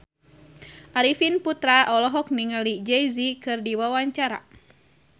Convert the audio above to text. Arifin Putra olohok ningali Jay Z keur diwawancara